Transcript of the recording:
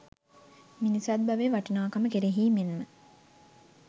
මිනිසත් බවේ වටිනාකම කෙරෙහි මෙන්ම